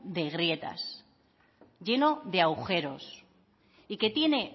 de grietas lleno de agujeros y que tiene